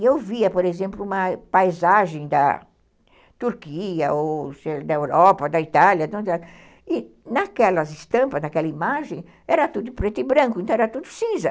E eu via, por exemplo, uma paisagem da Turquia, da Europa, da Itália, e naquelas estampas, naquela imagem, era tudo preto e branco, então era tudo cinza.